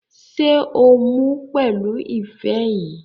Ṣé o mu pẹ̀lú ife yìí?